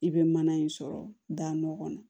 I bɛ mana in sɔrɔ da nɔgɔ kɔnɔ